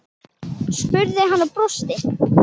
spurði hann og brosti.